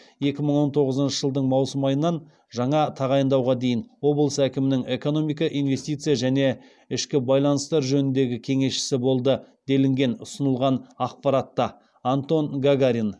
екі мың он тоғызыншы жылдың маусым айынан жаңа тағайындауға дейін облыс әкімінің экономика инвестиция және ішкі байланыстар жөніндегі кеңесшісі болды делінген ұсынылған ақпаратта антон гагарин